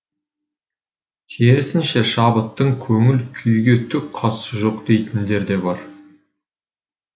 керісінше шабыттың көңіл күйге түк қатысы жоқ дейтіндер де бар